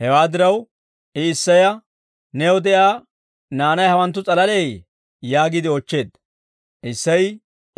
Hewaa diraw, I Isseya, «New de'iyaa naanay hawanttu s'alaleeyye?» yaagiide oochcheedda. Isseyi,